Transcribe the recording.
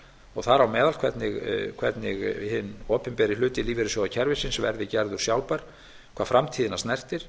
og þar á meðal hvernig hinn opinberi hluti lífeyrissjóðakerfisins verði gerður sjálfbær hvað framtíðina snertir